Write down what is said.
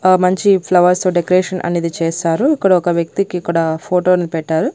ఆ మంచి ఫ్లవర్స్ తో డెకరేషన్ అనేది చేస్తారు ఇక్కడ ఒక వ్యక్తికిక్కడ ఫోటో అనేది పెట్టారు.